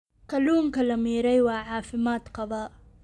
Kalluunka la miiray waa caafimaad qabaa.